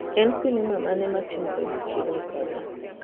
En sinema mane matimore machiegni koda?